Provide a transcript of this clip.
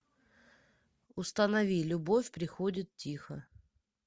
установи любовь приходит тихо